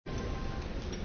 Următorul